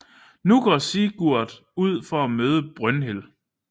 Nu går Sigurd ud for at møde Brynhild